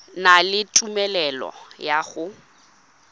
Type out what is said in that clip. na le tumelelo ya go